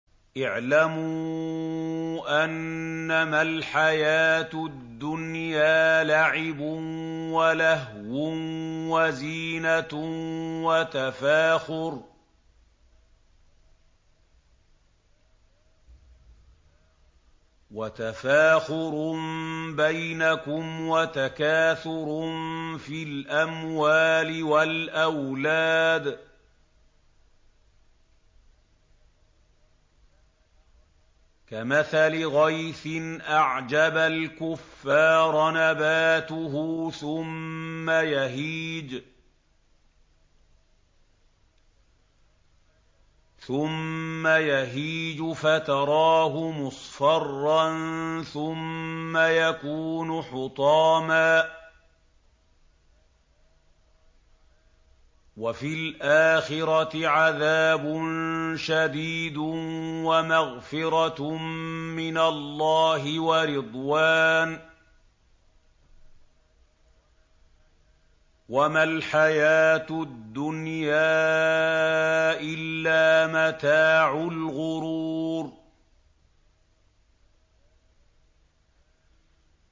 اعْلَمُوا أَنَّمَا الْحَيَاةُ الدُّنْيَا لَعِبٌ وَلَهْوٌ وَزِينَةٌ وَتَفَاخُرٌ بَيْنَكُمْ وَتَكَاثُرٌ فِي الْأَمْوَالِ وَالْأَوْلَادِ ۖ كَمَثَلِ غَيْثٍ أَعْجَبَ الْكُفَّارَ نَبَاتُهُ ثُمَّ يَهِيجُ فَتَرَاهُ مُصْفَرًّا ثُمَّ يَكُونُ حُطَامًا ۖ وَفِي الْآخِرَةِ عَذَابٌ شَدِيدٌ وَمَغْفِرَةٌ مِّنَ اللَّهِ وَرِضْوَانٌ ۚ وَمَا الْحَيَاةُ الدُّنْيَا إِلَّا مَتَاعُ الْغُرُورِ